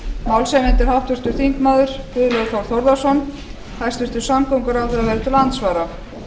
málshefjandi er háttvirtur þingmaður guðlaugur þór þórðarson hæstvirtur samgönguráðherra verður til andsvara